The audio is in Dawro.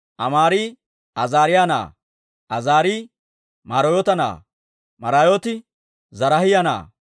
Amaari Azaariyaa na'aa; Azaarii Maraayoota na'aa; Maraayooti Zaraahiyaa na'aa;